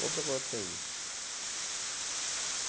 Vou procurar outro serviço.